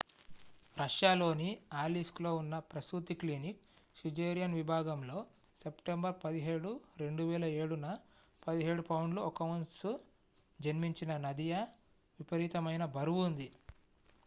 రష్యాలోని అలీస్క్లో ఉన్న ప్రసూతి క్లినిక్ సిజేరియన్ విభాగంలో సెప్టెంబర్ 17 2007న 17 పౌండ్లు 1 ఔన్స్ జన్మించిన నదియా విపరీతమైన బరువు ఉంది